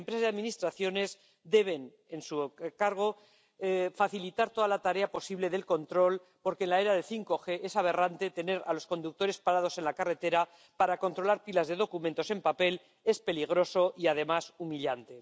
Las empresas y administraciones deben, en su cargo, facilitar toda la tarea posible de control, porque en la era del 5G es aberrante tener a los conductores parados en la carretera para controlar pilas de documentos en papel. Es peligroso y, además, humillante.